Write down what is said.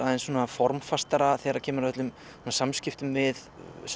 formfastara þegar kemur að samskiptum við